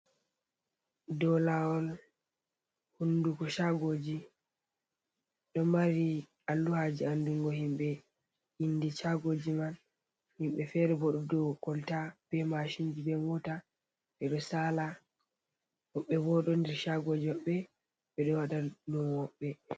Do lawol hunduko chagoji. Ɗo mari alluhaji andungo himbe indi chagoji man. Himɓe fere bo ɗo do kolta be mashinji be mota ɓe ɗo saala. Woɓɓe bo ɗo nder shagoji maɓɓe ɓe ɗo wada lumo mabbe.